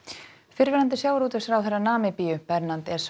fyrrverandi sjávarútvegsráðherra Namibíu Bernhard